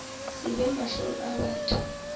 se be mahlong a batho